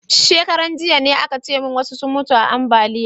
Shekaran jiya ne a ka ce mun wasu sun mutu ta ambaliya